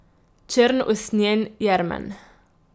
Črn usnjen jermen.